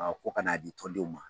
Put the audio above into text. ko kan'a di tɔndenw ma